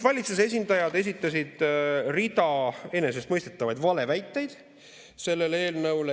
Valitsuse esindajad esitasid rida enesestmõistetavaid valeväiteid selle eelnõu kohta.